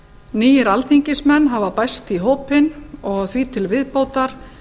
nýir alþingismenn hafa bæst í hópinn og því til viðbótar